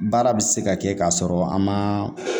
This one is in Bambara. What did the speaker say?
Baara bɛ se ka kɛ k'a sɔrɔ an ma